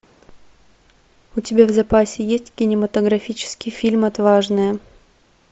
у тебя в запасе есть кинематографический фильм отважная